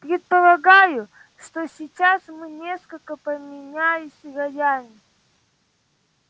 предполагаю что сейчас мы несколько поменялись ролями